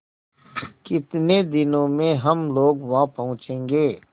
कितने दिनों में हम लोग वहाँ पहुँचेंगे